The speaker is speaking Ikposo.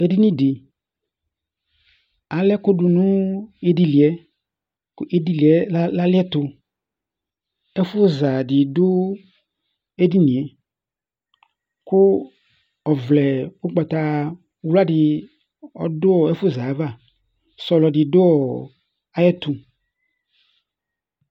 Ɛdiní di, alɛ ɛkʋ du nʋ idili yɛ Idili yɛ aliɛtu Ɛfʋ za di du edini ye kʋ ɔvlɛ ugbatawla di ɔdu ɛfʋza ava Sɔlɔ di du ayʋ ɛtu